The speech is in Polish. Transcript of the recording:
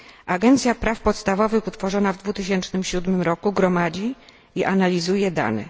Agencja Praw Podstawowych utworzona w 2007 roku gromadzi i analizuje dane.